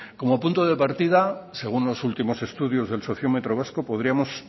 como punto de partida según los últimos estudios del sociómetro vasco podríamos